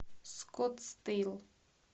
скоттсдейл